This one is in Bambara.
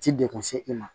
Ti degun se i ma